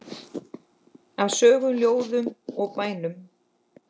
Af sögum, ljóðum og bænum.